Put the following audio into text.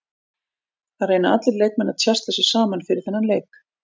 Það reyna allir leikmenn að tjasla sér saman fyrir þennan leik.